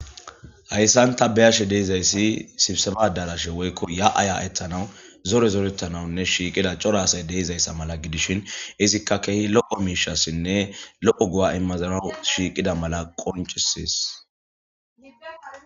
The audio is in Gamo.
hayssan ta beyashe deizayssi sibseba darashe woykko ya7aya etanawu zore zorettanawunne shiiqida cora asay deizayssa mala gidishin izikka kehi lo7o miishassinne lo7o gu7a immazana shiiqida mala qoncisees